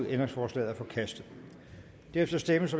ændringsforslaget er forkastet derefter stemmes